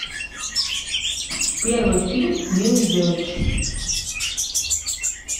первый фильм милы йовович